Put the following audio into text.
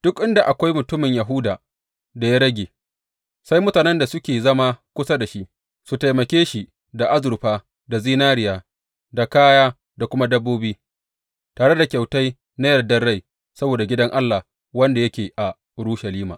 Duk inda akwai mutumin Yahuda da ya rage, sai mutanen da suke zama kusa da shi, su taimake shi da azurfa, da zinariya, da kaya, da kuma dabbobi, tare da kyautai na yardar rai saboda Gidan Allah wanda yake a Urushalima.’